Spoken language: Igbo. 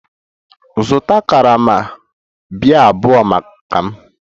Zụta karama biya abụọ maka m!